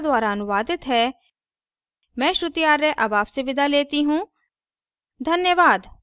धन्यवाद